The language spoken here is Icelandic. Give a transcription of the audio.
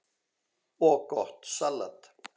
og gott salat.